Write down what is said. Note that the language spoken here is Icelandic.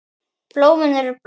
Blómin eru blá.